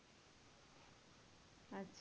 আচ্ছা